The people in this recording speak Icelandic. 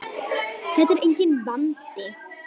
Þetta er enginn vandi!